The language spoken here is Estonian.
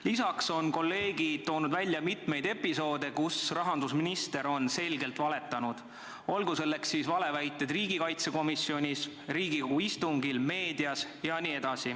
Lisaks on kolleegid toonud välja mitmeid episoode, kus rahandusminister on selgelt valetanud, olgu selleks siis valeväited riigikaitsekomisjonis, Riigikogu istungil, meedias või mujal.